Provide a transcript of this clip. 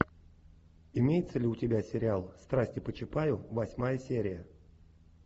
имеется ли у тебя сериал страсти по чапаю восьмая серия